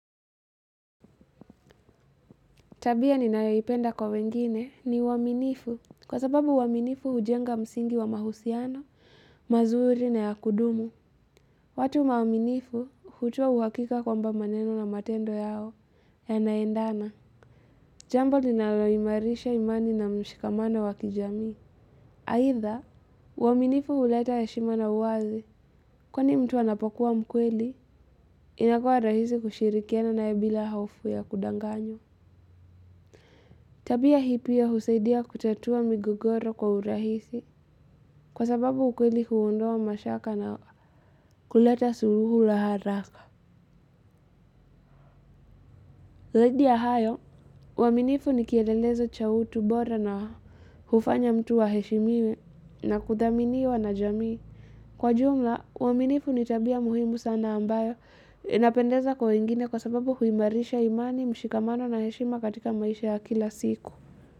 Tabia ninayoipenda kwa wengine ni uaminifu kwa sababu uaminifu hujenga msingi wa mahusiano, mazuri na ya kudumu. Watu waaminifu hutoa uhakika kwamba maneno na matendo yao yanaendana. Jambo linaloimarisha imani na mshikamano wa kijamii. Aidha, uaminifu huleta heshima na uwazi. Kwani mtu anapokuwa mkweli, inakuwa rahisi kushirikiana na yeye bila hofu ya kudanganywa. Tabia hiyo husaidia kutatua migogoro kwa urahisi kwa sababu ukweli huondoa mashaka na kuleta suluhu la haraka. Zaidi ya hayo, uaminifu ni kielelezo cha utu bora na hufanya mtu aheshimiwe na kuthaminiwa na jamii. Kwa jumla, uaminifu ni tabia muhimu sana ambayo inapendeza kwa wengine kwa sababu huimarisha imani mshikamano na heshima katika maisha ya kila siku.